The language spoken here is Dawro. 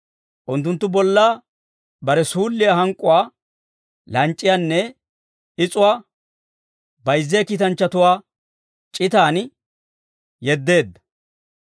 Unttunttu bolla bare suulliyaa hank'k'uwaa, lanc'c'iyaanne is'uwaa, bayzziyaa kiitanchchatuwaa c'uguwan yeddeedda.